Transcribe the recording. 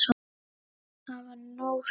Það var nóg fyrir okkur.